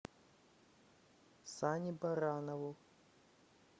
сане баранову